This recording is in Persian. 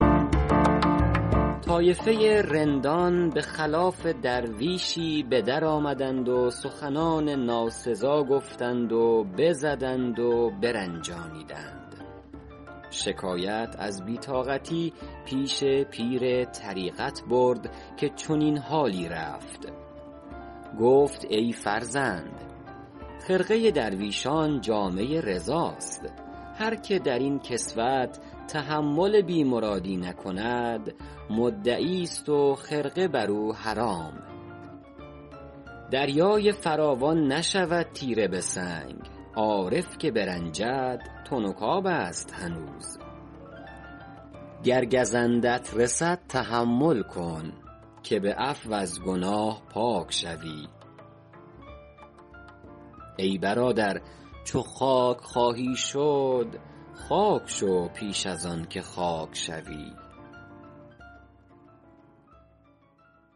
طایفه رندان به خلاف درویشی به در آمدند و سخنان ناسزا گفتند و بزدند و برنجانیدند شکایت از بی طاقتی پیش پیر طریقت برد که چنین حالی رفت گفت ای فرزند خرقه درویشان جامه رضاست هر که در این کسوت تحمل بی مرادی نکند مدعی است و خرقه بر او حرام دریای فراوان نشود تیره به سنگ عارف که برنجد تنک آب است هنوز گر گزندت رسد تحمل کن که به عفو از گناه پاک شوی ای برادر چو خاک خواهی شد خاک شو پیش از آن که خاک شوی